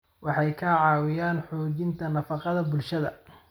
Waxay ka caawiyaan xoojinta nafaqada bulshada.